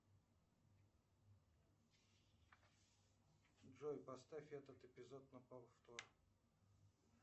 джой поставь этот эпизод на повтор